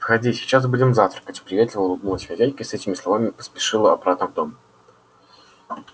входи сейчас будем завтракать приветливо улыбнулась хозяйка и с этими словами поспешила обратно в дом